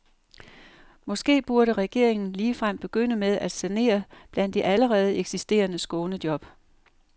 Måske burde regeringen ligefrem begynde med at sanere blandt de allerede eksisterende skånejob.